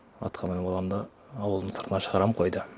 атқа мініп аламын да ауылдың сыртына шығарамын қойды